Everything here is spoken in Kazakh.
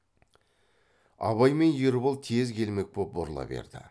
абай мен ербол тез келмек боп бұрыла берді